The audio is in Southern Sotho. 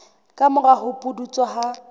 ka mora ho pudutsa ha